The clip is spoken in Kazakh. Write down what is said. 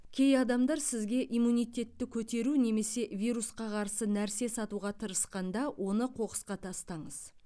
кей адамдар сізге иммунитетті көтеру немесе вирусқа қарсы нәрсе сатуға тырысқанда оны қоқысқа тастаңыз